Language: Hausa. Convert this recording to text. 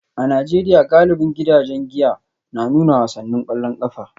A Najeriya, galibin gidajen giya na nuna wasannin kwallon kafa